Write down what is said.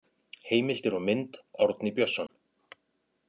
Heimildir og mynd: Árni Björnsson.